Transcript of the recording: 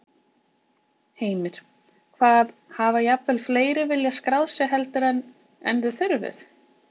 Heimir: Hvað, hafa jafnvel fleiri viljað skráð sig heldur en, en þið þurfið?